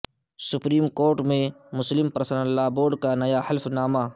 supreme court میں Muslim personal law board کا نیا حلف نامہ